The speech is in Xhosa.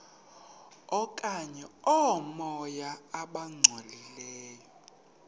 okanye oomoya abangcolileyo